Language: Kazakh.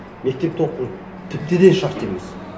мектепте оқу тіпті де шарт емес